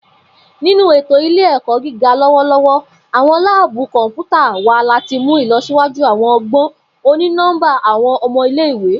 Ninu eto ile-ẹkọ giga lọwọlọwọ, awọn laabu kọnputa wa lati mu ilọsiwaju awọn ọgbọn oni-nọmba awọn ọmọ ile-iwe.